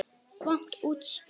Vont útspil.